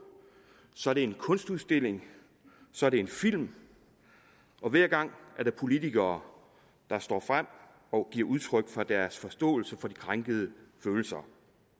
så er det en kunstudstilling så er det en film og hver gang er der politikere der står frem og giver udtryk for deres forståelse for de krænkede følelser